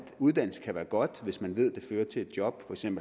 uddannelse kan være godt hvis man ved at det fører til et job hvis man